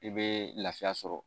I bɛ lafiya sɔrɔ